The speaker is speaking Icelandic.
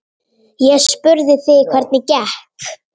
Ég spurði þig hvernig gekk.